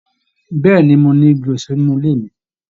Bẹẹni, mo ni Igi èso nínú ilé mi.